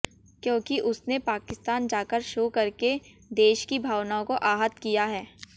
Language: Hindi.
क्योंकि उसने पाकिस्तान जाकर शो करके देश की भावनाओं को आहत किया है